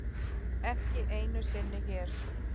Ekki einu sinni hér.